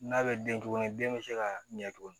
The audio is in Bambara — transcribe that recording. N'a bɛ den tugun den bɛ se ka ɲɛ tugun